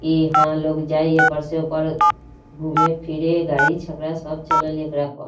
ईहा लोग जाई ए पार से उ पार घूमे फिर गाड़ी छकड़ा सब चल ले एकरा पर |